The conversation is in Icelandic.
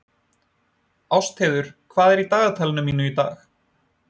Ástheiður, hvað er í dagatalinu mínu í dag?